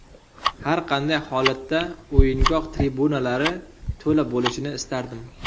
Har qanday holatda o‘yingoh tribunalari to‘la bo‘lishini istardim.